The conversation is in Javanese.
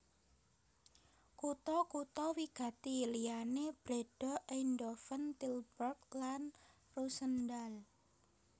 Kutha kutha wigati liyané Breda Eindhoven Tilburg lan Roosendaal